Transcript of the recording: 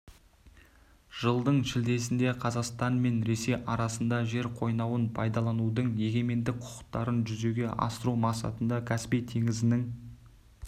жылдың шілдесінде қазақстан мен ресей арасында жер қойнауын пайдаланудың егемендік құқықтарын жүзеге асыру мақсатында каспий теңізінің